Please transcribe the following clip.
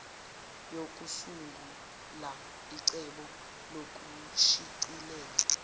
yokusungula icebo lokushicilela